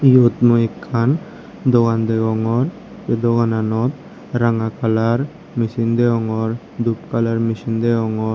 eyot mui ekkan dogan degongor sei dogananot ranga colour machine degongor dup colour machine degongor.